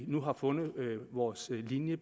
nu fundet vores linje